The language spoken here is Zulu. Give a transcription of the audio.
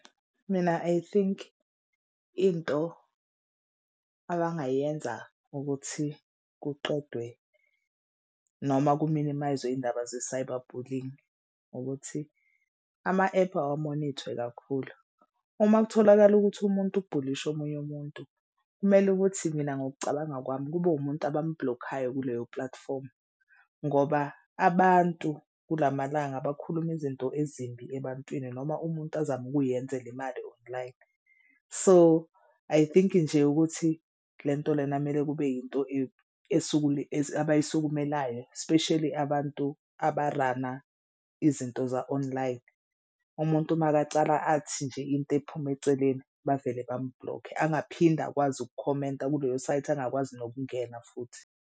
Mina I think into akangayenza ukuthi kuqedwe noma kuminimay'zwe indaba ze-cyber bullying ukuthi ama ephu awamonithwe kakhulu. Uma kutholakala ukuthi umuntu ubhulishe omunye umuntu kumele ukuthi mina ngokucabanga kwami kube umuntu abambhulokhayo kuleyo platform ngoba abantu kulamalanga bakhuluma izinto ezimbi ebantwini. Noma umuntu azama ukuyenzela imali online. So I think nje ukuthi le nto lena kumele kube yinto abayisukumelayo especially abantu abarana izinto za-online. Umuntu makacala athi nje into ephuma eceleni, bavele bamubhulokhe angaphinde akwazi ukukhomenta kuleyo site angakwazi nokungena futhi.